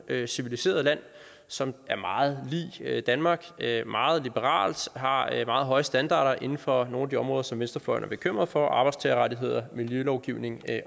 civiliseret land som er meget lig danmark det er meget liberalt har meget høje standarder inden for nogle af de områder som venstrefløjen er bekymret for arbejdstagerrettigheder miljølovgivning